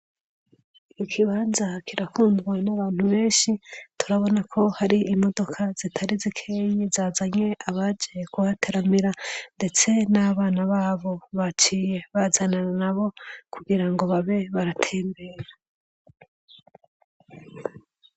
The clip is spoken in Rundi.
Iki kibanza kirakundwa n'abantu benshi turabona ko hari imodoka zitari zikeyi zazanye abaje kuhateramira ndetse n'abana babo baciye bazanana na bo kugira ngo babe baratembera.